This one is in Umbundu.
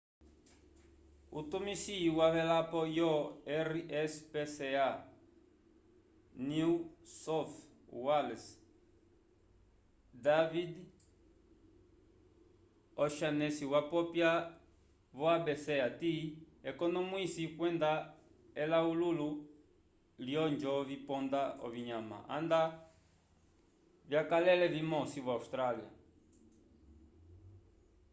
utumisi wavelapo yo rspca new south wales david o'shannessy wapopya vo abc hati ekonomwwiso kwenda elawululo lyolonjo viponda ovinyama nda vyakalele vimosi vo-austrália